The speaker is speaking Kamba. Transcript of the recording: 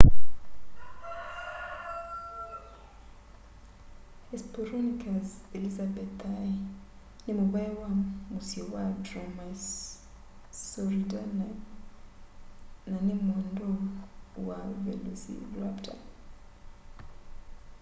hesperonychus elizabethae nĩ mũvaĩ wa mũsyĩ wa dromaeosauridae na nĩ mwendwau wa velociraptor